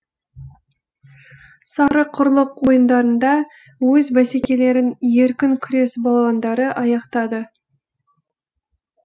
сарықұрлық ойындарында өз бәсекелерін еркін күрес балуандары аяқтады